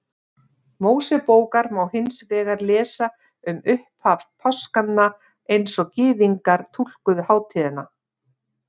Mósebókar má hins vegar lesa um upphaf páskanna eins og Gyðingar túlkuðu hátíðina.